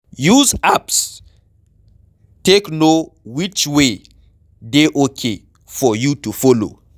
Use apps take know which way dey okay for you to follow